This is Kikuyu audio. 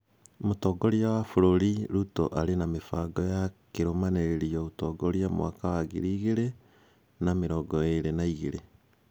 Mũtongoria wa bũrũri Ruto arĩ na mĩbango ya kĩrũmanĩrĩrio ũtongoria mwaka wa ngiri igĩrĩ na mĩrongo ĩĩrĩ na igĩrĩ.